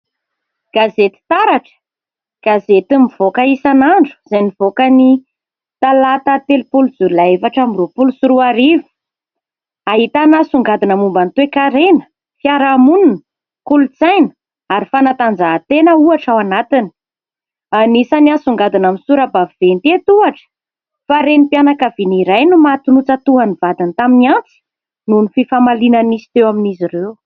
Gazety "taratra" gazety mivoaka isan'andro izay nivoaka ny talata telopolo jolay efatra amby roapolo sy roa arivo. Ahitana songadina momba ny toe-karena, fiarahamonina, kolontsaina ary fanatanjahantena ohatra ao anatiny. Anisany asongadina amin'ny sora-baventy eto ohatra fa : "Renim-pianankaviana iray no maty notsatohan'ny vadiny tamin'ny antsy nohon'ny fifamaliana nisy teo amin'izy ireo".